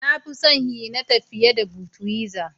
Na fi son "Heineken " fiye da " budwiser "